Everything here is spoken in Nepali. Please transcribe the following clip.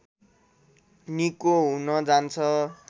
निको हुन जान्छ